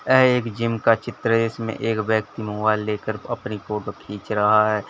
ए एक जिम का चित्र इसमें एक व्यक्ति मोबाइल लेकर अपनी फोटो खींच रहा है।